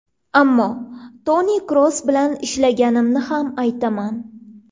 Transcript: Ammo Toni Kroos bilan ishlaganimni ham aytaman.